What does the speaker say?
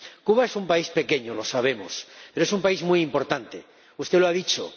Cuba es un país pequeño, lo sabemos, pero es un país muy importante, −usted lo ha dicho.